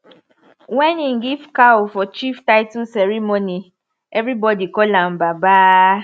when he give cow for chief title ceremony everybody call am baba